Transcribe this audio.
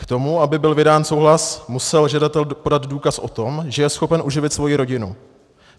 K tomu, aby byl vydán souhlas, musel žadatel podat důkaz o tom, že je schopen uživit svoji rodinu.